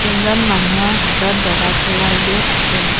এজন মানুহৰ হাতত দগা পাল্লা এযোৰ আছে।